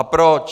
A proč?